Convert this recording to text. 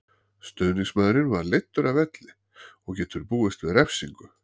Stuðningsmaðurinn var leiddur af velli og getur búist við refsingu.